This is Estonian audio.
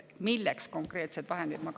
Milleks konkreetsed vahendid?